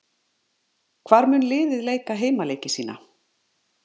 Hvar mun liðið leika heimaleiki sína?